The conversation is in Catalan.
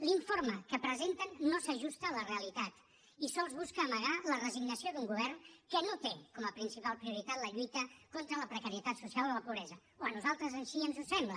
l’informe que presenten no s’ajusta a la realitat i sols busca amagar la resignació d’un govern que no té com a principal prioritat la lluita contra la precarietat social o la pobresa o a nosaltres així ens ho sembla